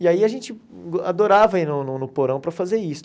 E aí a gente adorava ir no no porão para fazer isso.